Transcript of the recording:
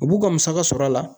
U b'u ka musaka sɔrɔ a la.